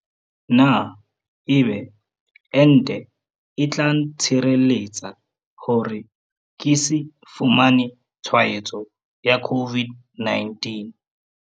Na ebe ente e tla ntshireletsa hore ke se fumane tshwaetso ya COVID-19?